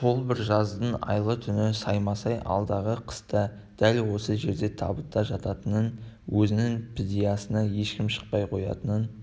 сол бір жаздың айлы түні саймасай алдағы қыста дәл осы жерде табытта жататынын өзінің підиясына ешкім шықпай қоятынын